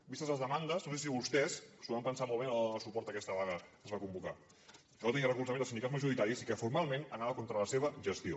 vistes les demandes no sé si vostès s’ho van pensar molt bé a l’hora de donar suport a aquesta vaga que es va convocar que no tenia el recolzament dels sindicats majoritaris i que formalment anava contra la seva gestió